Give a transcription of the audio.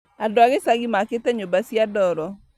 Andũ a gĩcagi makĩte nyumba cia ndoro